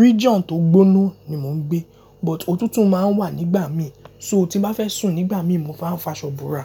region tó gbóná ni mò ń gbé, but òtútù máa ń wà nígbà mí, so tí bá fẹ́ sùn nígbà mí mo máa ń fa aṣọ ìbora.